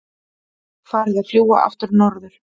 Farið að fljúga aftur norður